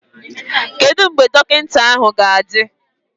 Kedu mgbe dọkịta ga-adị?